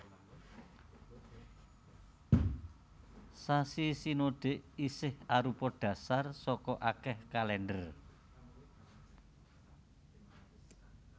Sasi sinodik isih arupa dhasar saka akèh kalèndher